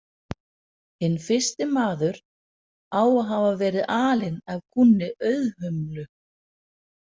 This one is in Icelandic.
Hinn fyrsti maður á að hafa verið alinn af kúnni Auðhumlu.